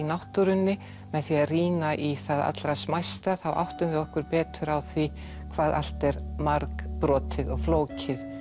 náttúrunni með því að rýna í það allra smæsta þá áttum við okkur betur á því hvað allt er margbrotið og flókið